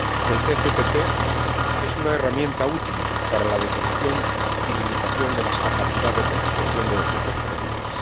El TCTP es una herramienta útil para la detección y limitación de las capacidades de actuación de los grupos terroristas.